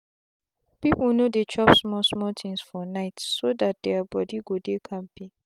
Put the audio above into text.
young boys and girls dey always drink water before them go chop food so that them go dey kampe